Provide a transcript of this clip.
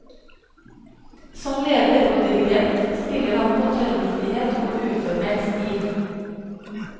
Som leder og dirigent spiller han på tørrvittighet og uformell stil.